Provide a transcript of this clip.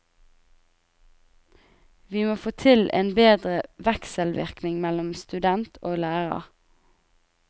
Vi må få til en bedre vekselvirkning mellom student og lærer.